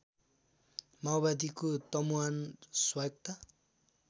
माओवादीको तमुवान स्वायत्त